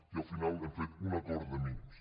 i al final hem fet un acord de mínims